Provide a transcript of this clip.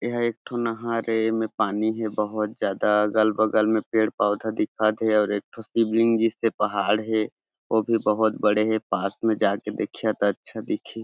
एह एक ठो नहर ए एमेर पानी हे बहोत ज्यादा अगल-बगल में पेड़-पौधा दिखत हे और एक ठो शिब्लिंग जिसपे पहाड़ हे ओ भी बहोत बड़े हे पास में जाके देखिया त अच्छा दिखी--